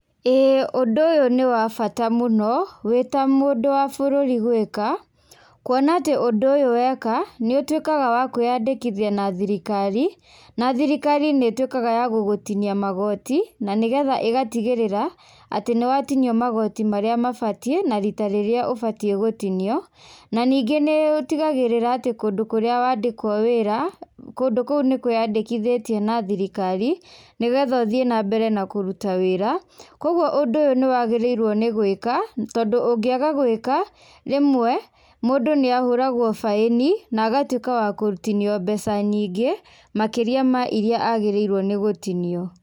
ĩĩ ũndũ ũyũ nĩ wa bata mũno wĩta mũndũ wa bũrũri gwĩka kũona atĩ ũndũ ũyũ weka nĩ utuĩkaga wa kwĩandĩkithia na thirikari, na thirikari nĩ ĩtuĩkaga ya gũgũtinia magoti na nĩgetha ĩgatigĩrĩra atĩ nĩ watinio magoti maria mabatiĩ na rita rĩrĩa ũbatiiĩ gũtinio, na ningĩ nĩ ũtigagĩrĩra atĩ kũndũ kũrĩa wandĩkwo wĩra, kũndũ kũu nĩ kwĩandĩkithĩtie na thirikari nĩgetha ũthiĩ na mbere na kũruta wĩra. Kwoguo ũndũ ũyũ nĩ wagĩrĩirwo nĩ gwĩka tondũ ũngĩaga gwĩka, rĩmwe mũndũ nĩ ahũragwo baĩni, na agatuĩka wa gũtinio mbeca nyingĩ makĩria ma iria agĩrĩirwo nĩ gũtinio.